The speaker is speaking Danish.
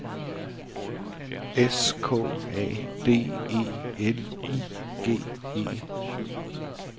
S K A D E L I G E